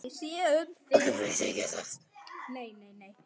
Ekki vissi ég það.